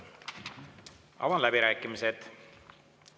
Avan läbirääkimised.